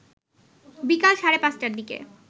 বিকাল সাড়ে ৫টার দিকে